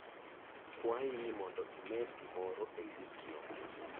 Kwayi ni mondo imed gimoro e listno